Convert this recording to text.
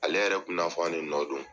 Ale yɛrɛ kun bi n'a fɔ anw de nɔ don.